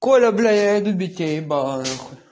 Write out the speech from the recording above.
коля блять я иду бить тебе ебало нахуй